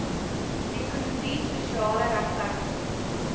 ekonomie sosiale regverdigheid